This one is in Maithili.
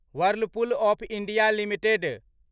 Whirlpool of India limited